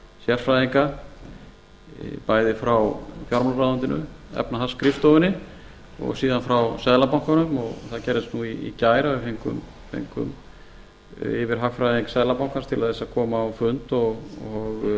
sérfræðinga bæði frá fjármálaráðuneytinu efnahagsskrifstofunni og síðan frá seðlabankanum og það gerðist í gær að við fengum yfirhagfræðing seðlabankans til þess að koma á fund og